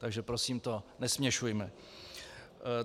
Takže prosím to nesměšujme.